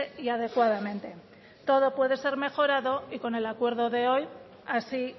y adecuadamente todo puede ser mejorado y con el acuerdo de hoy así